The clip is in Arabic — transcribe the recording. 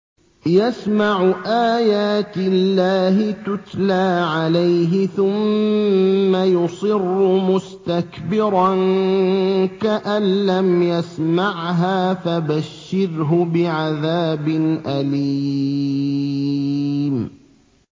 يَسْمَعُ آيَاتِ اللَّهِ تُتْلَىٰ عَلَيْهِ ثُمَّ يُصِرُّ مُسْتَكْبِرًا كَأَن لَّمْ يَسْمَعْهَا ۖ فَبَشِّرْهُ بِعَذَابٍ أَلِيمٍ